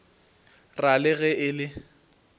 ra le ge e le